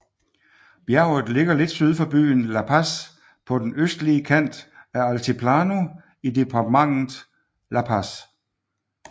Bjerget ligger lidt syd for byen La Paz på den østlige kant af Altiplano i departementet La Paz